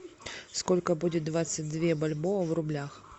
сколько будет двадцать две бальбоа в рублях